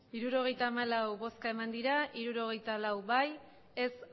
resultado de la votación setenta y cuatro votos emitidos sesenta y cuatro votos a favor diez votos